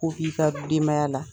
Ko f'i ka denbaya la